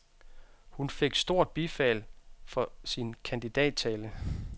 Hun fik stort bifald for sin kandidattale.